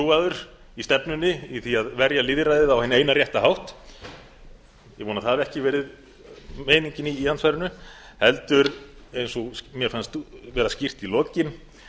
hreintrúaður í stefnunni í því að verja lýðræðið á hinn eina rétta hátt ég vona að það hafi ekki verið meiningin í andsvarinu heldur eins og mér fannst vera skýrt í lokin